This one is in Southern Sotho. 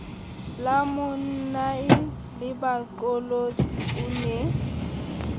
la monnae lebaqolotsi o ne